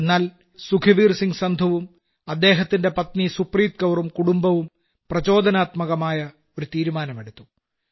എന്നാൽ സുഖ്വീർസിംഗ്സന്ധുവും അദ്ദേഹത്തിന്റെ പത്നി സുപ്രീത്കൌറും കുടുംബവും പ്രചോദനാത്മകമായി ഒരു തീരുമാനമെടുത്തു